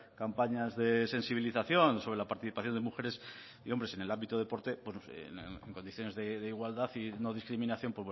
campañas de sensibilización sobre la participación de mujeres y hombres en el ámbito del deporte en condiciones de igualdad y no discriminación